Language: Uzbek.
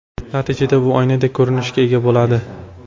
Natijada u oynadek ko‘rinishga ega bo‘ladi.